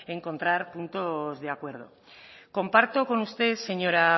encontrar puntos de acuerdo comparto con usted señora